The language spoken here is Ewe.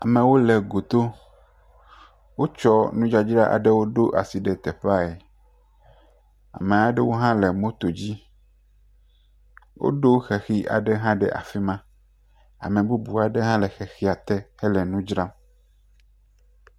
Amewo le goto. Wotsɔ nudzadzra aɖewo ɖo asi ɖe teƒeaɛ. Ame aɖewo le moto dzi woɖo xexi aɖe hã ɖe afi ma. Ame bubu aɖe hã le xexia te hele nu dzram.